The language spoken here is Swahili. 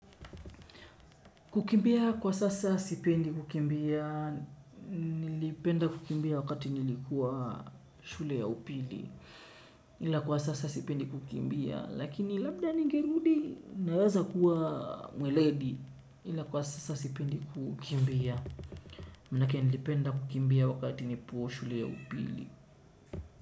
Kukimbia kwa sasa sipendi kukimbia, nilipenda kukimbia wakati nilikuwa shule ya upili, ila kwa sasa sipendi kukimbia, lakini labda ningerudi naweza kuwa mweledi ila kwa sasa sipendi kukimbia, manake nilipenda kukimbia wakati nipo shule ya upili.